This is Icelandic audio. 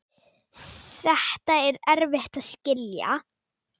Þetta er erfitt að skilja.